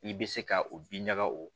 I bɛ se ka o bin ɲaga o